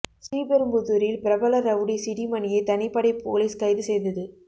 ஸ்ரீபெரும்புதூரில் பிரபல rowdy C D மணியை தனிப்படை போலீஸ் கைது செய்தது